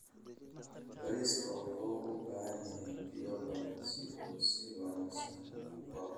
Bariiska wuxuu u baahan yahay biyo badan si uu si wanaagsan u koro.